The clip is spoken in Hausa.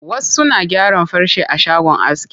Wasu na gyaran farce a shagon aski.